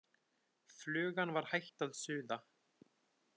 Flugan var hætt að suða.